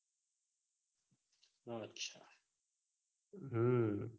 હમ